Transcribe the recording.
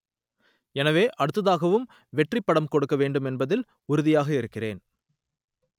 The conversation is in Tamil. எனவே அடுத்ததாகவும் வெற்றி படம் கொடுக்க வேண்டும் என்பதில் உறுதியாக இருக்கிறேன்